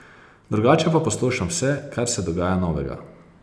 Drugače pa poslušam vse, kar se dogaja novega.